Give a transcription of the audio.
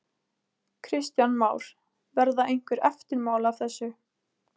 Kristján Már: Verða einhver eftirmál af þessu?